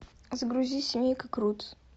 загрузи семейка крутс